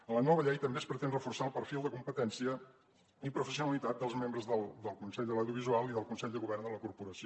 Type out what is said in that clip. a la nova llei també es pretén reforçar el perfil de competència i professionalitat dels membres del consell de l’audiovisual i del consell de govern de la corporació